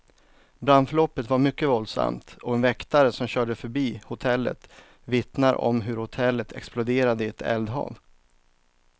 Brandförloppet var mycket våldsamt, och en väktare som körde förbi hotellet vittnar om hur hotellet exploderade i ett eldhav.